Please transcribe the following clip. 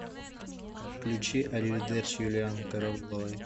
включи ариведерчи юлианны карауловой